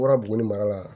Bɔra buguni mara la